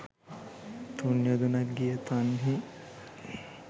තුන් යොදුනක් ගිය තන්හි